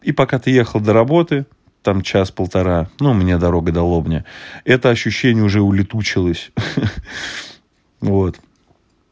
и пока ты ехал до работы там час-полтора ну мне дорога до лобни это ощущение уже улетучилась вот